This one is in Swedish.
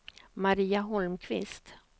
Maria Holmqvist